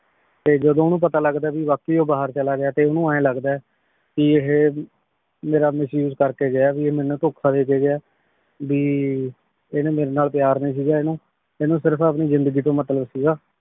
ਫੇਰ ਜਦੋਂ ਓਨੁ ਪਤਾ ਲਗਦਾ ਆ ਵੀ ਵਾਕ਼ਈ ਉਹ ਬਾਹਿਰ ਚਲਾ ਗਯਾ ਤੇ ਓਨੁ ਏਯ ਲਗਦਾ ਆਯ ਭੀ ਏਹੀ ਮੇਰਾ misuse ਕਰ ਕੇ ਗਯਾ ਆ, ਏ ਮੇਨੂ ਧੋਖਾ ਦੇ ਕੇ ਗਯਾ ਆ, ਭੀ ਏਨੇ ਮੇਰੀ ਨਾਲ ਪਯਾਰ ਨਈ ਸੀਗਾ ਏਨੁ, ਏਨੂੰ ਸਿਰਫ ਆਪਣੀ ਜ਼ਿੰਦਗੀ ਤੋਂ ਮਤਲਬ ਸੀਗਾ ਆ.